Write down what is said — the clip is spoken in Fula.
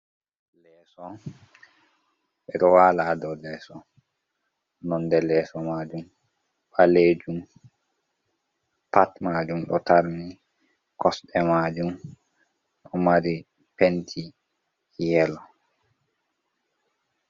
Leso ɓe ɗo wala ha dow leso. Nonde leso majum ɓalejum pat majum ɗo tarni, kosɗe majum ɗo mari penti yelo.